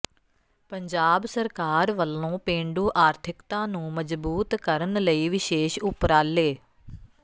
ਪੰਜਾਬ ਸਰਕਾਰ ਵੱਲੋਂ ਪੇਂਡੂ ਆਰਥਿਕਤਾ ਨੂੰ ਮਜਬੂਤ ਕਰਨ ਲਈ ਵਿਸ਼ੇਸ਼ ਊਪਰਾਲੇ